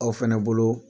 Aw fɛnɛ bolo